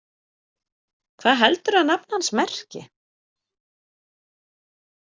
Hvað heldurðu að nafn hans merki?